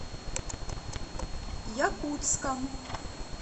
якутском